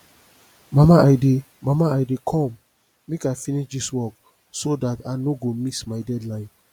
mama i dey mama i dey come make i finish dis work so dat i no go miss my deadline